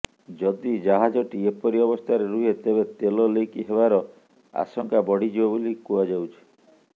ଯଦି ଜାହାଜଟି ଏପରି ଅବସ୍ଥାରେ ରୁହେ ତେବେ ତେଲ ଲିକ୍ ହେବାର ଆଶଙ୍କା ବଢ଼ିଯିବ ବୋଲି କୁହାଯାଉଛି